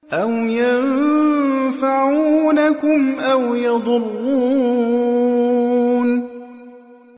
أَوْ يَنفَعُونَكُمْ أَوْ يَضُرُّونَ